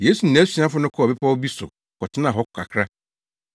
Yesu ne nʼasuafo no kɔɔ bepɔw bi so kɔtenaa hɔ kakra.